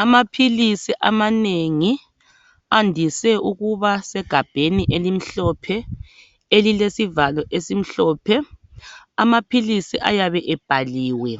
Amaphilisi amanengi andise ukuba segabheni elimhlophe elilesivalo esimhlophe amaphilisi ayabe ebhaliwe,